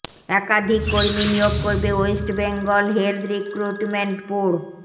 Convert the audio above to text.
একাধিক কর্মী নিয়োগ করবে West Bengal health recruitment board